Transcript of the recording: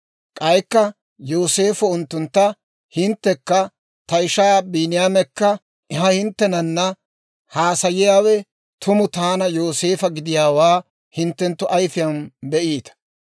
K'aykka Yooseefo unttuntta, «Hinttekka ta ishaa Biiniyaamekka, ha hinttenanna haasayiyaawe tumu taana Yooseefa gidiyaawaa hinttenttu ayfiyaan be'iita.